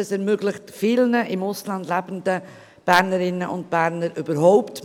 EVoting ermöglicht vielen im Ausland lebenden Bernerinnen und Bernern, überhaupt